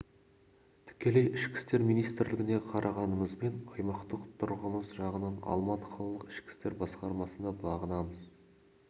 тікелей ішкі істер министрлігіне қарағанымызбен аймақтық тұрағымыз жағынан алматы қалалық ішкі істер басқармасына бағынамыз